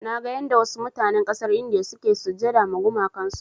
Naga yanda wasu mutanen ƙasar India suke sujjada ma gumakan su.